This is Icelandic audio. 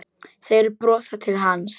Þeir brosa til hans.